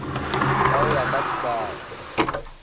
ka ho ya ka sekala